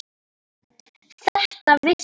Þetta vissi